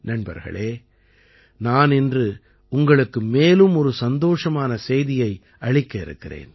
நண்பர்களே நான் இன்று உங்களுக்கு மேலும் ஒரு சந்தோஷமான செய்தியை அளிக்க இருக்கிறேன்